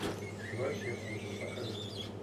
дочь якудзы покажи